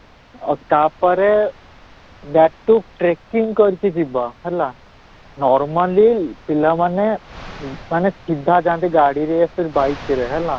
ତା'ପରେ back to tracking କରିକି ଯିବା ହେଲା, normally ପିଲାମାନେ ଉଁ ମାନେ ସିଧା ଯାଆନ୍ତି ଗାଡ଼ିରେ bike ରେ ହେଲା